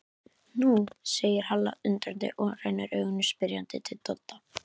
Nú, segir Halla undrandi og rennir augunum spyrjandi til Dodda.